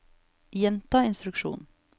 gjenta instruksjon